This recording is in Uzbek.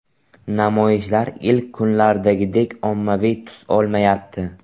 Namoyishlar ilk kunlardagidek ommaviy tus olmayapti.